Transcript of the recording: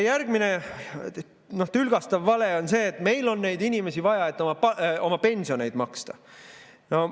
Järgmine tülgastav vale on see, et meil on neid inimesi vaja, et oma pensione maksta.